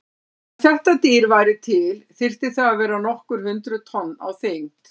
Ef þetta dýr væri til þyrfti það að vera nokkur hundruð tonn á þyngd.